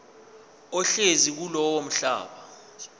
ohlezi kulowo mhlaba